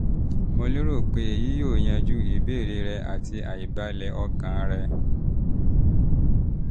mo lérò pé èyí yóò yanjú ìbéèrè rẹ àti àìbalẹ̀ ọkàn rẹ